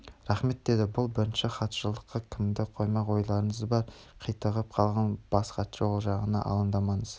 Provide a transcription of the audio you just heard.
рахмет деді бұл бірінші хатшылыққа кімді қоймақ ойларыңыз бар қитығып қалған бас хатшы ол жағына алаңдамаңыз